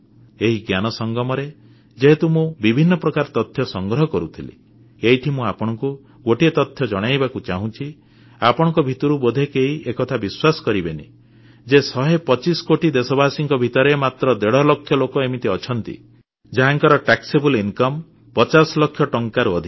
ଏହି ଜ୍ଞାନସଂଗମରେ ଯେହେତୁ ମୁଁ ବିଭିନ୍ନ ପ୍ରକାର ତଥ୍ୟ ସଂଗ୍ରହ କରୁଥିଲି ଏଇଠି ମୁଁ ଆପଣଙ୍କୁ ଗୋଟିଏ ତଥ୍ୟ ଜଣାଇବାକୁ ଚାହୁଁଛି ଆପଣଙ୍କ ଭିତରୁ ବୋଧେ କେହି ଏକଥା ବିଶ୍ୱାସ କରିବେନି ଯେ 125 କୋଟି ଦେଶବାସୀଙ୍କ ଭିତରେ ମାତ୍ର ଦେଢ଼ ଲକ୍ଷ ଲୋକ ଏମିତି ଅଛନ୍ତି ଯାହାଙ୍କର କରଯୋଗ୍ୟ ଆୟ ଟ୍ୟାକ୍ସେବଲ ଇନକମ୍ ପଚାଶ ଲକ୍ଷ ଟଙ୍କାରୁ ଅଧିକ